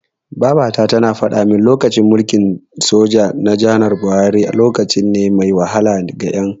Babata tana faɗamin cewa, lokacin mulkin soja na janar Buhari, lokaci ne mai wahala ga Ƴan.